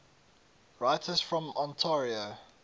writers from ontario